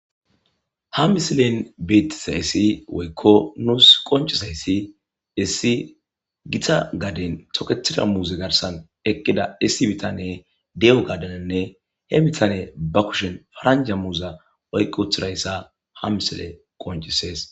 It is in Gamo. ha misilen beetisayssi woykko nuus qoncisayssi issi gita gaden toketida muuze garsan eqqida issi bitane de7o gadaninne he bitane ba kushen franja muuza oyq wuthirayssa ha misile qoncisees